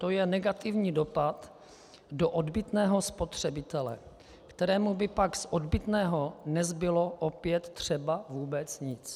To je negativní dopad do odbytného spotřebitele, kterému by pak z odbytného nezbylo opět třeba vůbec nic.